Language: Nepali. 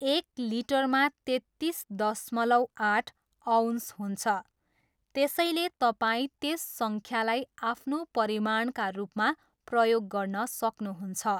एक लिटरमा तेत्तिस दशमलव आठ अउन्स हुन्छ, त्यसैले तपाईँ त्यस सङ्ख्यालाई आफ्नो परिमाणका रूपमा प्रयोग गर्न सक्नुहुन्छ।